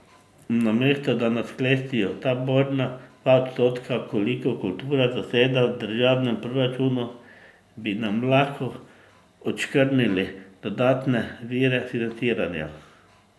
Namesto da nas klestijo, ta borna dva odstotka, kolikor kultura zaseda v državnem proračunu, bi nam lahko odškrnili dodatne vire financiranja.